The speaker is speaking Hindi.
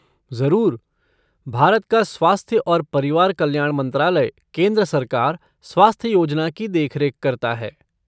ज़रूर। भारत का स्वास्थ्य और परिवार कल्याण मंत्रालय केंद्र सरकार स्वास्थ्य योजना की देखरेख करता है।